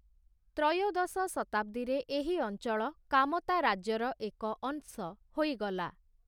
ତ୍ରୟୋଦଶ ଶତାବ୍ଦୀରେ ଏହି ଅଞ୍ଚଳ କାମତା ରାଜ୍ୟର ଏକ ଅଂଶ ହୋଇଗଲା ।